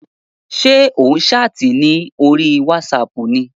Ṣé ò ń ṣáàtì ní orí wátísapù ni?